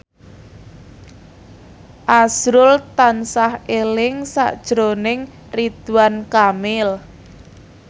azrul tansah eling sakjroning Ridwan Kamil